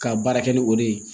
Ka baara kɛ ni o de ye